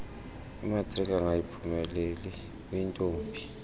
imatriki angayiphumeleli uyintombi